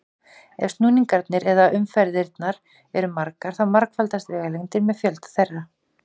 Ef snúningarnir eða umferðirnar eru margar þá margfaldast vegalengdin með fjölda þeirra.